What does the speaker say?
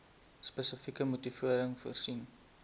spesifieke motivering voorsien